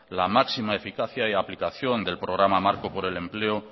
la máxima eficacia y aplicación del programa marco por el empleo